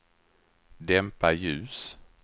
dämpa ljus